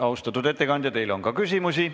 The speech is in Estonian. Austatud ettekandja, teile on ka küsimusi.